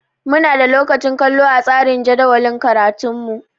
Muna da lokacin kallo a tsarin jadawalin karatunmu